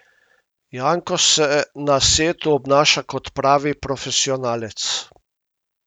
Janko se na setu obnaša kot pravi profesionalec.